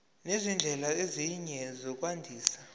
nezindlela ezinye zokwandisa